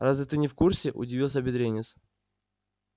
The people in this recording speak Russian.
разве ты не в курсе удивился бедренец